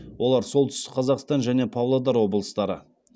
олар солтүстік қазақстан және павлодар облыстары